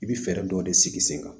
I bɛ fɛɛrɛ dɔw de sigi sen kan